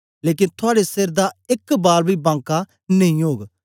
लेकन थुआड़े सेर दा एक बाल बी बाँका नेई ओग